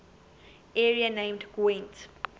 area named gwent